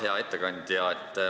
Hea ettekandja!